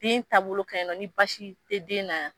Den taabolo ka ɲi nɔ, ni basi te den na yan.